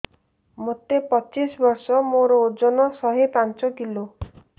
ମୋତେ ପଚିଶି ବର୍ଷ ମୋର ଓଜନ ଶହେ ପାଞ୍ଚ କିଲୋ